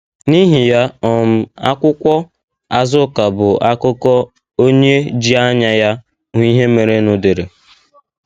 N’ihi ya um, akwụkwọ Azuka bụ akụkọ onye ji anya ya hụ ihe merenụ dere.